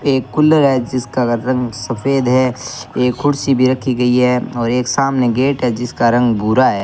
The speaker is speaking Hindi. एक कूलर है जिसका रंग सफेद है एक कुर्सी भी रखी गई है और एक सामने गेट है जिसका रंग भूरा है।